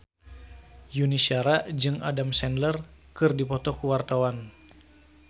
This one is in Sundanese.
Yuni Shara jeung Adam Sandler keur dipoto ku wartawan